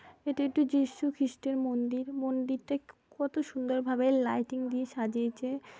এটা একটি যিশু খ্রিস্টের মন্দির। মন্দিরটা ক কত সুন্দর ভাবে লাইটিং দিয়ে সাজিয়েছে ।